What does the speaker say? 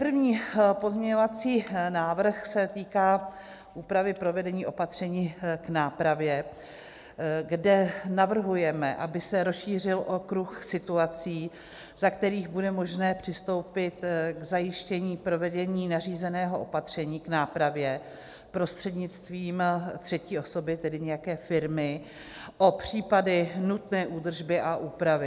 První pozměňovací návrh se týká úpravy provedení opatření k nápravě, kde navrhujeme, aby se rozšířil okruh situací, za kterých bude možné přistoupit k zajištění provedení nařízeného opatření k nápravě prostřednictvím třetí osoby, tedy nějaké firmy, o případy nutné údržby a úpravy.